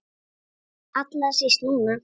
Allra síst núna.